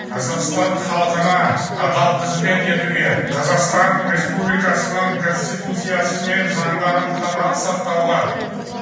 қазақстан халқына адал қызмет етуге қазақстан республикасының конституциясы мен заңдарын қатаң сақтауға